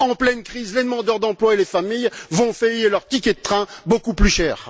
En pleine crise, les demandeurs d'emploi et les familles vont payer leurs tickets de train beaucoup plus cher.